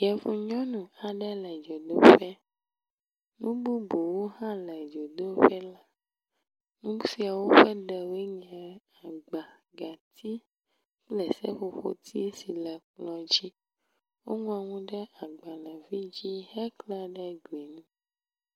Yevu nyɔnu aɖe le dzodoƒe, nu bubuwo hã le dzodoƒe la, nu siawo ƒe ɖewoe nye agba, gati kple seƒoƒotsi si le kplɔ̃ dzi. Woŋlɔ nu ɖe agbalẽ vi dzi heklã ɖe gli ŋu.